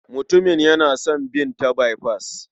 Mutumin yana son bin ta baifas.